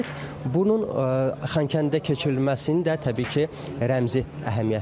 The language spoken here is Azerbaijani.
Bunun Xankəndidə keçirilməsinin də təbii ki, rəmzi əhəmiyyəti var.